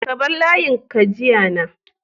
ka bar layin ka jiya na